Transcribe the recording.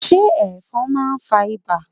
se efon ma fa iba?